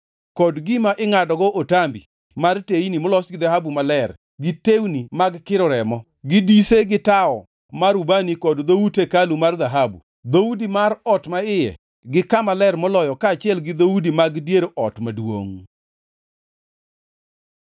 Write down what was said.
kod gima ingʼadogo otambi mar teyni molos gi dhahabu maler, gi tewni mag kiro remo, gi dise gi tawo mar ubani kod dhout hekalu mar dhahabu: dhoudi mar ot maiye gi Kama Ler Moloyo kaachiel gi dhoudi mag dier ot maduongʼ.